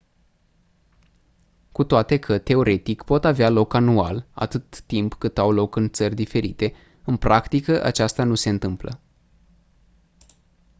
cu toate că teoretic pot avea loc anual atâta timp cât au loc în țări diferite în practică aceasta nu se întâmplă